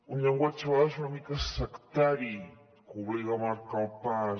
un llenguatge a vegades una mica sectari que obliga a marcar el pas